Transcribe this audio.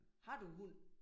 Har du hund?